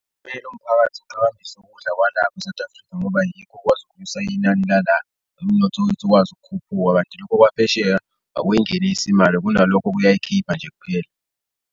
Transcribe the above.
Kumele umphakathi uqhakambise ukudla kwala e-South Africa ngoba yikho okukwazi ukunyusa inani lala, umnotho wethu ukwazi ukukhuphuka kanti lokho kwaphesheya akuyingenisi imali kunalokho kuyayikhipha nje kuphela.